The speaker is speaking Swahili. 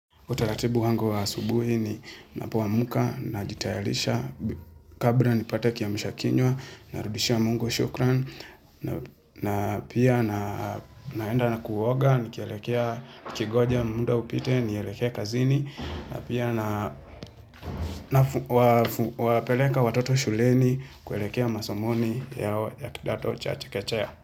Utaratibu wangu wa subuhi ni ninapoamka, najitayarisha, kabla nipate kiamshakinywa, narudishia mungo shukran, na pia na naenda na kuoga, nikielekea kigoja muda upite, nieleke kazini, na pia nawapeleka watoto shuleni, kuelekea masomoni yao ya kidato cha chekechaya.